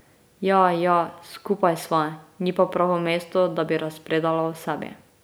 Ja, ja, skupaj sva, ni pa pravo mesto, da bi razpredala o sebi.